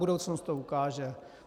Budoucnost to ukáže.